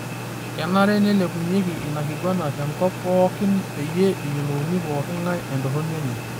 Kenare neilepunyeki ina kiguana te nkop pooki pyie eyiolou pooki ngae entorroni enye.